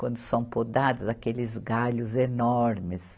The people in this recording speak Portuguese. Quando são podadas, aqueles galhos enormes.